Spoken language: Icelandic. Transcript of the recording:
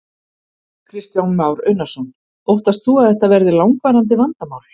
Kristján Már Unnarsson: Óttast þú að þetta verði langvarandi vandamál?